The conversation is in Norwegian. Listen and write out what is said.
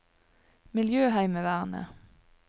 miljøheimevernet